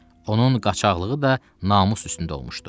Onun qaçaqlığı da namus üstündə olmuşdu.